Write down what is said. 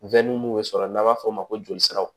mun bɛ sɔrɔ n'an b'a f'o ma ko joli siraw